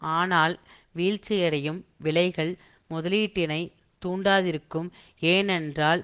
ஆனால் வீழ்ச்சியடையும் விலைகள் முதலீட்டினை தூண்டாதிருக்கும் ஏனென்றால்